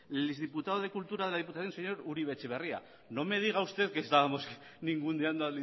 el ex diputado de cultura de la diputación señor uribe etxebarria no me diga usted que estábamos ninguneando